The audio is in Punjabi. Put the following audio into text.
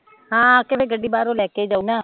ਹਾਂ, ਆ ਕੇ ਵੀ ਗੱਡੀ ਬਾਹਰੋਂ ਲੈ ਕੇ ਜਾਉ ਨਾ?